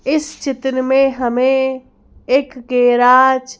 इस चित्र में हमें एक गेराज --